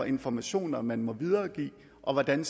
informationer man må videregive og hvordan